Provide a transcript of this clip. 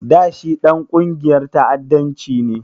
Da shi Ɗan ƙungiyar ta'addanci ne?